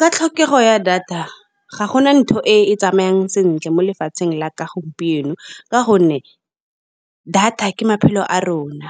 Ka tlhokego ya data ga gona ntho e tsamayang sentle mo lefatsheng la ka gompieno. Ka gonne data ke maphelo a rona,